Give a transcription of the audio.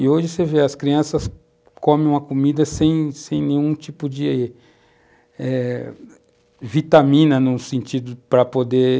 E hoje você vê, as crianças comem uma comida sem sem nenhum tipo de eh, vitamina num sentido para poder